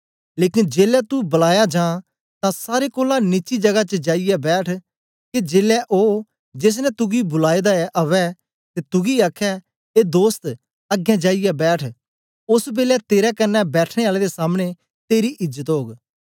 लेकन जेलै तू बुलाया जां तां सारे कोलां नीची जगा च जाईयै बैठ के जेलै ओ जेस ने तुगी बुलाए दा ऐ अवै ते तुगी आखे ए दोस्त अगें जाईयै बैठ ओस बेलै तेरे कन्ने बैठने आले दे सामने तेरी इज्जत ओग